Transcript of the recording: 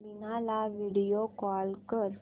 वीणा ला video call कर